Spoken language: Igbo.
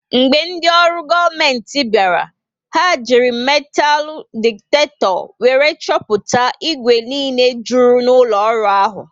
Mgbe ndị olu goomenti bịara, ha ji metalu diktakto wéré chọpụta igwe niile jụrụ n'ụlọ ọrụ ahụ